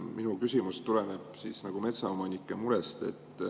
Minu küsimus tuleneb metsaomanike murest.